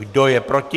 Kdo je proti?